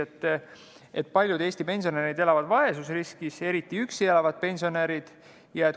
Nimelt, paljud Eesti pensionärid elavad vaesusriskis, eriti üksi elavad pensionärid.